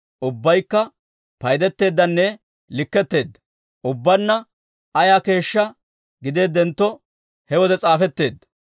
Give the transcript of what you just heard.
Ubbabaykka paydetteedanne likketteedda; ubbaanna ayaa keeshshaa gideeddentto, he wode s'aafetteedda.